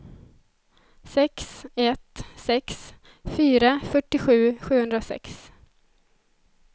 sex ett sex fyra fyrtiosju sjuhundrasex